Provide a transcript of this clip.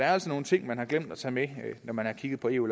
er altså nogle ting man har glemt at tage med da man kiggede på eu